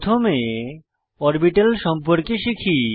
প্রথমে অরবিটাল সম্পর্কে শিখি